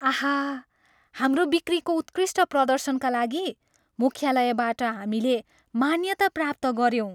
आहा! हाम्रो बिक्रीको उत्कृष्ट प्रदर्शनका लागि मुख्यालयबाट हामीले मान्यता प्राप्त गऱ्यौँ।